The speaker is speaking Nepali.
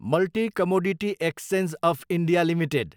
multi commodity exchange of India Ltd